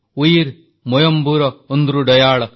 ଉୟିର୍ ମୋଇମ୍ବୁର ଓଂଦ୍ରୁଡୈୟାଳ